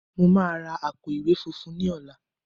Mo máa ra àpò-ìwé funfun ní ọ̀la